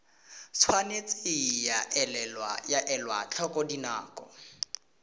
tshwanetse ga elwa tlhoko dinako